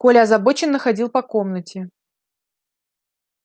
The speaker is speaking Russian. коля озабоченно ходил по комнате